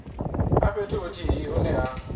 a fhethu huthihi hune ha